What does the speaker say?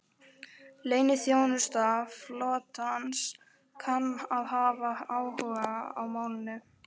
Leyniþjónusta flotans kann að hafa áhuga á málinu